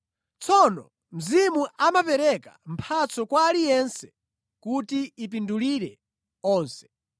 Tsono Mzimu amapereka mphatso kwa aliyense kuti ipindulire onse.